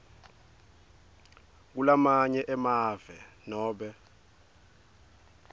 kulamanye emave nobe